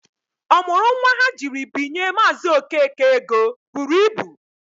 Ọ mụrụ nwa ha jiri binye Maazị Okeke ego buru ibu.